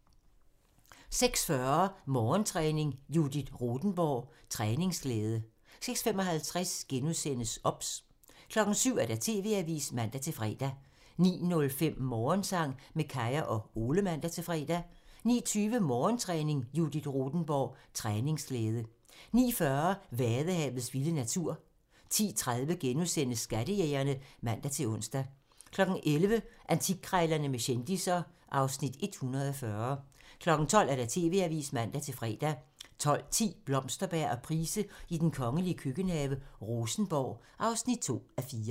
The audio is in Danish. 06:40: Morgentræning: Judith Rothenborg - træningsglæde 06:55: OBS *(man) 07:00: TV-avisen (man-fre) 09:05: Morgensang med Kaya og Ole (man-fre) 09:20: Morgentræning: Judith Rothenborg - træningsglæde 09:40: Vadehavets vilde natur 10:30: Skattejægerne *(man-ons) 11:00: Antikkrejlerne med kendisser (Afs. 140) 12:00: TV-avisen (man-fre) 12:10: Blomsterberg og Price i den kongelige køkkenhave: Rosenborg (2:4)